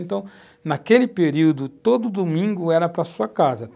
Então, naquele período, todo domingo era para a sua casa.